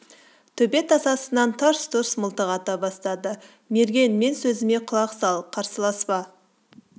төбе тасасынан тарс-тұрс мылтық ата бастады мерген мен сөзіме құлақ сал қарсыласпа